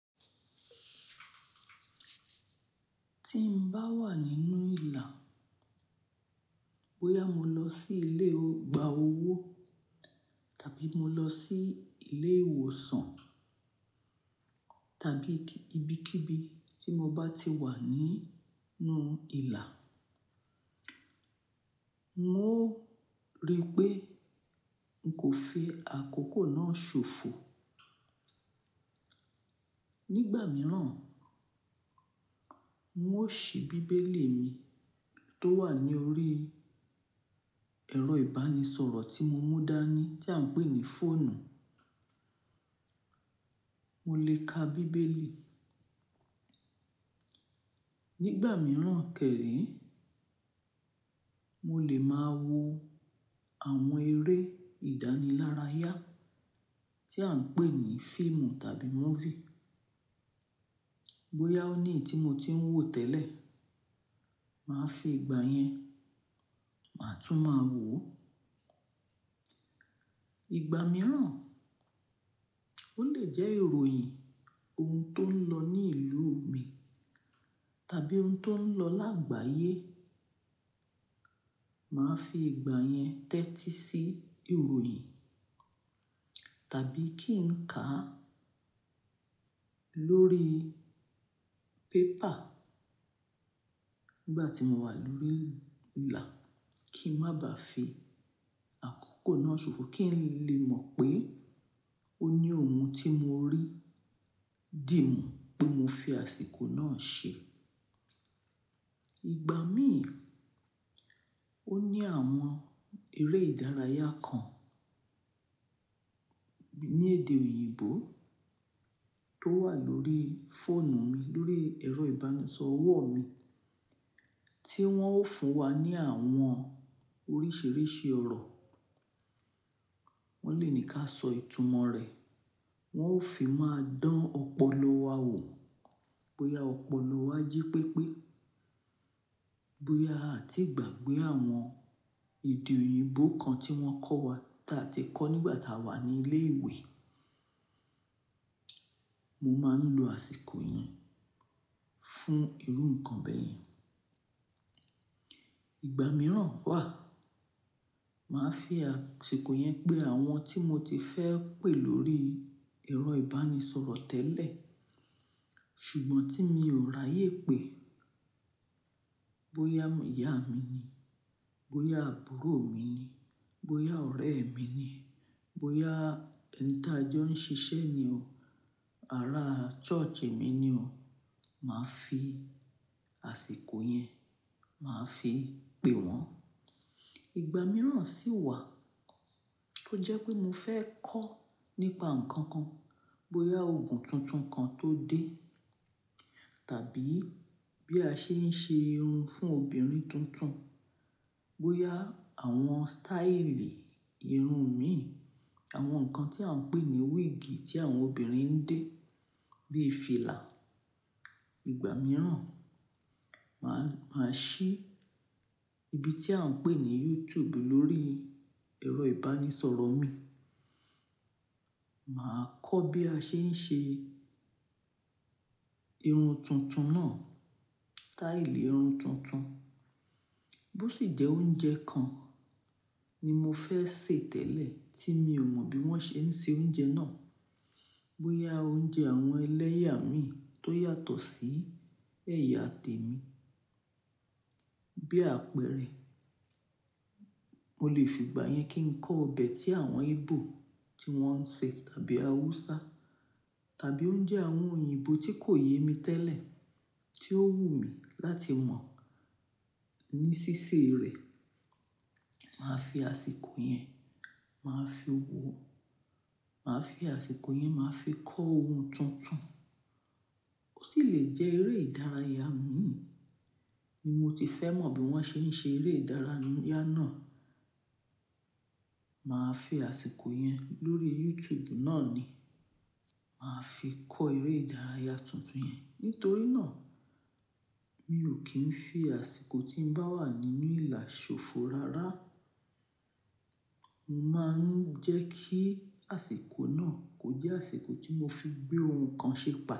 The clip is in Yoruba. Tí n bá wà nínú ìlà, bóyá mo lọ sí ilé ọgbà owó tàbí mo lọ sí ilé ìwòsàn tàbí ibi kí ibi tí mo bá ti wà nínú ìlà, n ó rí pé n kò fi àkókò náà ṣòfò. Nígbà mìíràn, n ó ṣí bíbélì mi tó wà ní orí ẹ̀rọ ìbánisọ̀rọ̀ tí mo mú dání tí à ń pè ní fóònù. Mo lè ka bíbélì. Nígbà mìíràn kẹ̀réé, mo lè máa wo àwọn eré ìdánilárayá tí à ń pè ní fíìmù tàbí múfì. Bóyá ó ní ètí mo tí ń wò tẹ́lẹ̀, màá fi ìgbà yẹn, màá tún máa wò ó. Ìgbà mìíràn, ó lè jẹ́ ìròyìn ohun tó ń lọ ní ìlú mi tàbí ohun tó ń lọ lágbàyé, màá fi ìgbà yẹn tẹ́tí sí ìròyìn tàbí kí n kà á lórí pépà. Nígbà tí mo wà lórí ìlà kí n má bá fi àkókò náà ṣòfò kí n lè mọ̀ pé ó ní ohun tí mo rí dì mú pé mo fi àsìkò náà ṣe. Ìgbà mí, ó ní àwọn eré ìdárayá kan ní èdè òyìnbó tó wà lórí fóònù mi, lórí ẹ̀rọ ìbánisọ̀rọ̀ mi tí wọ́n ó fún wa ní àwọn oríṣìíríṣìí ọ̀rọ̀. Wọ́n lè ní ká sọ ìtumọ̀ rẹ̀, wọ́n ó fi máa dán ọpọlọ wa wò, bóyá ọpọlọ wa jí pépé, bóyá a ti gbàgbé àwọn èdè òyìnbó kan tí wọ́n kọ́ wa tá a ti kọ́ nígbà tá a wà ní ilé ìwé. Mo máa ń lo àsìkò yẹn fún irú nǹkan bẹ́ẹ̀ yẹn. Ìgbà mìíràn wà, màá fi àsìkò yẹn pé àwọn tí mo ti fẹ́ pé lórí ẹ̀rọ ìbánisọ̀rọ̀ tẹ́lẹ̀ ṣùgbọ́n tí mi ò ráyé pé, bóyá ìyá mi ni, bóyá àbúrò mi ni, bóyá ọ̀rẹ́ mi ni, bóyá ẹni tí a jọ ń ṣiṣẹ́ ni o, ará ṣọ́ọ̀ṣì mi ni o, màá fi àsìkò yẹn, màá fi pé wọ́n. Ìgbà mìíràn sì wà tó jẹ́ pé mo fẹ́ kọ́ nípa nǹkan kan, bóyá ogun tuntun kan tó dé tàbí bí a ṣe ń ṣe irun fún obìnrin tuntun, bóyá àwọn sítáílì irun mi, àwọn nǹkan tí à ń pè ní wíìgì tí àwọn obìnrin ń dé bí i fìlà. Ìgbà mìíràn, màá, màá ṣí ibi tí à ń pè ní YouTube lórí ẹ̀rọ ìbánisọ̀rọ̀ mi, màá kọ́ bí a ṣe ń ṣe irun tuntun náà, sítáílì irun tuntun. Bó sì jẹ́ oúnjẹ kan ni mo fẹ́ sè tẹ́lẹ̀ tí mi ò mọ bí wọ́n ṣe ń ṣe oúnjẹ náà, bóyá oúnjẹ àwọn ẹlẹ́yà mi tó yàtọ̀ sí ẹ̀yà tèmi. Bí àpẹẹrẹ, mo lè fi ìgbà yẹn kí n kọ ọbẹ̀ tí àwọn Íbò tí wọ́n ń ṣe tàbí Haúsá tàbí oúnjẹ àwọn òyìnbó tí kò yé mi tẹ́lẹ̀ tí ó wù mí láti mọ̀ ní ṣíṣe rẹ̀. Màá fi àsìkò yẹn, màá fi wo, màá fi àsìkò yẹn, màá fi kọ́ ohun tuntun. Ó sì lè jẹ́ eré ìdárayá mí ní mo ti fẹ́ mọ̀ bí wọ́n ṣe ń ṣe eré ìdárayá náà. Màá fi àsìkò yẹn lórí YouTube náà ni, màá fi kọ́ eré ìdárayá tuntun yẹn. Nítorí náà, mi ò kí ń fi àsìkò tí n bá wà nínú ìlà ṣòfò rárá. Mo máa ń jẹ́ kí àsìkò náà kò jẹ́ àsìkò tí mo fi gbé ohun kan ṣe pẹ́